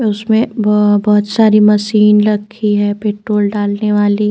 उसमे ब बहुत सारी मशीन रखी है पेट्रोल डालने वाली।